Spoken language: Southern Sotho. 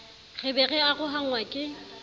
re be re arohanngwa ke